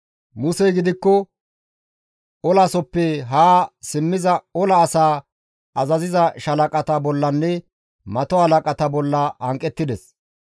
Musey gidikko olaasoppe haa simmiza ola asaa azaziza shaalaqata bollanne mato halaqata bolla hanqettides.